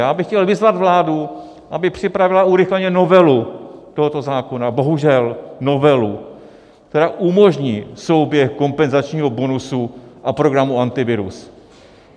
Já bych chtěl vyzvat vládu, aby připravila urychleně novelu tohoto zákona, bohužel novelu, která umožní souběh kompenzačního bonusu a programu Antivirus.